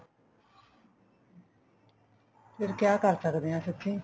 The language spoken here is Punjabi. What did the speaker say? ਫ਼ੇਰ ਕਿਆ ਕਰ ਸਕਦੇ ਹਾਂ ਸੱਚੀਂ